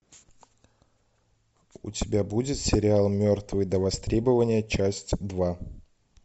у тебя будет сериал мертвые до востребования часть два